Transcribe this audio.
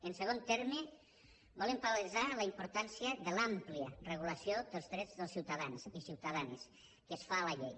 en segon terme volem palesar la importància de l’àmplia regulació dels drets dels ciutadans i ciutadanes que es fa a la llei